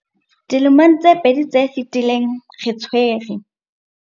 Dilemong tse pedi tse fetileng, re tshwere.